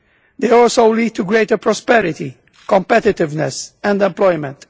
They also lead to greater prosperity, competitiveness and employment.